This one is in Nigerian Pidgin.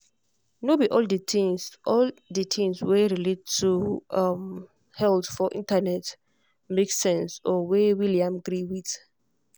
no be all the things all the things wey relate to health for internet make sense or wey william gree with.